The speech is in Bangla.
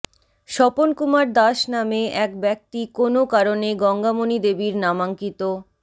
স্বপনকুমার দাস নামে এক ব্যক্তি কোনও কারণে গঙ্গামণিদেবীর নামাঙ্কিত